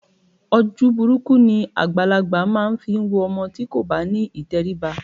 Ojú burúkú ni àgbàlagbà máa ń fi wo ọmọ tí kò bá ní ìtẹríba